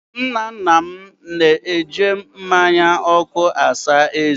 Nna nna m na-eji mmánya ọkụ asa ezé ya.